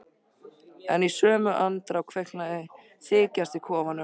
En í sömu andrá kviknaði þykjast í kofanum.